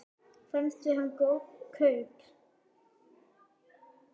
Fannst þér hann góð kaup?